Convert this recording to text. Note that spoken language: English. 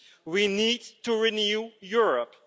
We need to renew Europe.